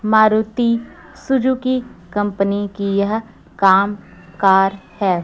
Maruti Suzuki company की यह काम कार है।